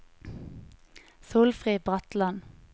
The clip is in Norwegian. Solfrid Bratland